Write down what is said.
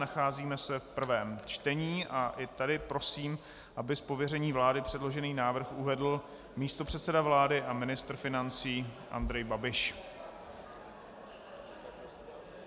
Nacházíme se v prvém čtení a i tady prosím, aby z pověření vlády předložený návrh uvedl místopředseda vlády a ministr financí Andrej Babiš.